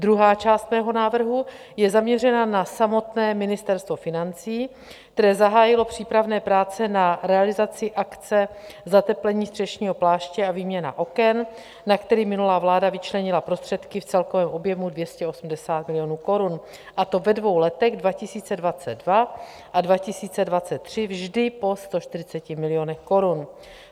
Druhá část mého návrhu je zaměřena na samotné Ministerstvo financí, které zahájilo přípravné práce na realizaci akce zateplení střešního pláště a výměna oken, na kterou minulá vláda vyčlenila prostředky v celkovém objemu 280 milionů korun, a to ve dvou letech, 2022 a 2023, vždy po 140 milionech korun.